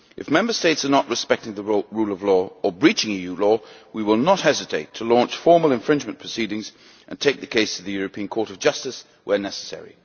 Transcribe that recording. If Member States are not respecting the rule of law or are breaching EU law, we will not hesitate to launch formal infringement proceedings and take the case to the European Court of Justice where necessary.